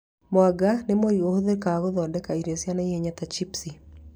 Mwanga nĩ mũri ũhũthagĩrwo gũthondeka irio cia naihenya ta cibuci